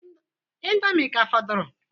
Indomie ka fọdụrụ?